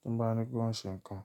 tín bá ní kí wọ́n ṣe nǹkan.